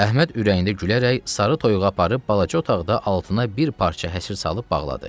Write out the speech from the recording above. Əhməd ürəyində gülərək sarı toyuğu aparıb balaca otaqda altına bir parça həsir salıb bağladı.